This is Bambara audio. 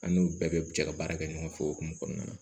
An n'u bɛɛ bɛ jɛ ka baara kɛ ɲɔgɔn fɛ o hokumu kɔnɔna na